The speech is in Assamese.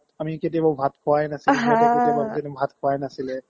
আমি কেতিয়াবাও ভাত খোৱা এ নাছিলো ভাত খোৱাই এ নাছিলে